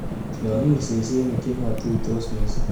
Tiong'ik sesenik chematusot missing.